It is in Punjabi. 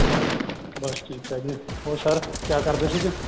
ਬੱਸ ਠੀਕ ਠਾਕ ਜੀ ਹੋਰ sir ਕਿਆ ਕਰਦੇ ਸੀਗੇ